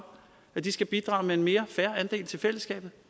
skal bidrage med en mere fair andel til fællesskabet